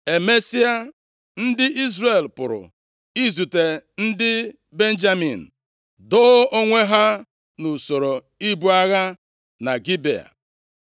Emesịa, ndị Izrel pụrụ izute ndị Benjamin, doo onwe ha nʼusoro ibu agha na Gibea.